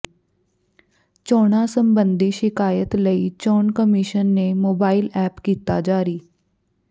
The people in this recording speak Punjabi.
ਚੋਣਾਂ ਸਬੰਧੀ ਸ਼ਿਕਾਇਤ ਲਈ ਚੋਣ ਕਮਿਸ਼ਨ ਨੇ ਮੋਬਾਈਲ ਐਪ ਕੀਤਾ ਜਾਰੀ